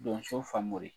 Donso famori